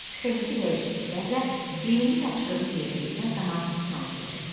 Sxemdəki dəyişikliklərlə birinci tapşırığı yerinə yetirən zaman tanış olacaqsan.